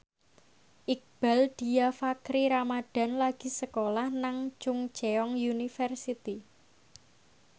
Iqbaal Dhiafakhri Ramadhan lagi sekolah nang Chungceong University